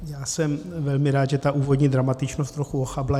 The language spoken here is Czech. Já jsem velmi rád, že ta úvodní dramatičnost trochu ochabla.